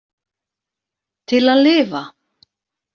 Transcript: Til að lifa.